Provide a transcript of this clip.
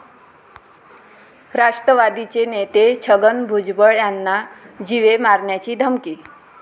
राष्ट्रवादीचे नेते छगन भुजबळ यांना जीवे मारण्याची धमकी